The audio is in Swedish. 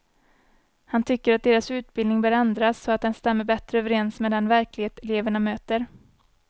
Han tycker att deras utbildning bör ändras så att den stämmer bättre överens med den verklighet eleverna möter.